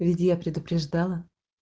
ведь я предупреждала